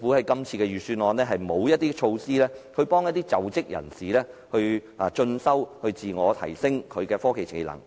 今次預算案沒有任何措施幫助在職人士進修，自我提升科技技能。